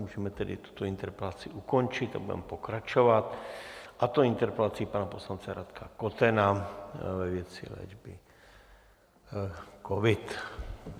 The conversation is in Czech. Můžeme tedy tuto interpelaci ukončit a budeme pokračovat, a to interpelací pana poslance Radka Kotena ve věci léčby covid.